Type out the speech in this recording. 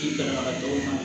I kalanbaga tɔw ma